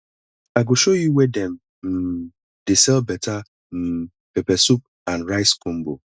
i go show you where dem um dey sell better um pepper soup and rice combo